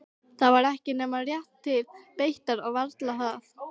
Það var ekki nema rétt til beitar og varla það.